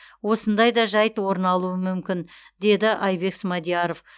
осындай да жайт орын алуы мүмкін деді айбек смадияров